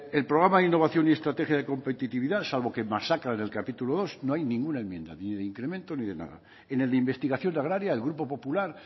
el programa de innovación y estrategia de competitividad salvo que masacran en el capítulo segundo no hay ninguna enmienda ni de incremento ni de nada en el de investigación agraria el grupo popular